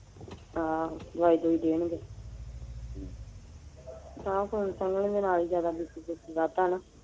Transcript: ਹਾਂ ਦਵਾਈ ਦੁਵਾਈ ਦੇਣਗੇ। ਨਾਲ ਜਿਆਦਾ BP ਬੂ ਪੀ ਵਧਦਾ ਨਾ।